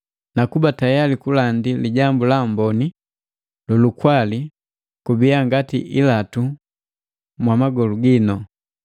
na kuba tayali kulandi Lijambu la Amboni lu lukwali jibiya ngati ilatu mwa magolu ginu.